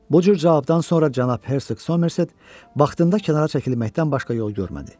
Bu cür cavabdan sonra cənab Hersoq Somerset vaxtında kənara çəkilməkdən başqa yol görmədi.